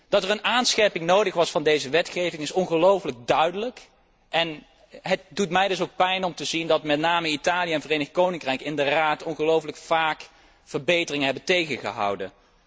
Dat er een aanscherping van deze wetgeving nodig was, is ongelooflijk duidelijk en het doet mij dus ook pijn om te zien dat met name Italië en het Verenigd Koninkrijk in de Raad ongelooflijk vaak verbeteringen hebben tegengehouden.